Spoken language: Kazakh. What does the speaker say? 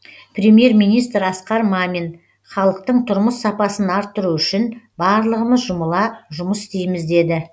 премьер министр асқар мамин халықтың тұрмыс сапасын арттыру үшін барлығымыз жұмыла жұмыс істейміз деді